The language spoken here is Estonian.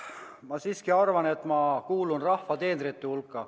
Ma siiski arvan, et ma kuulun rahva teenrite hulka.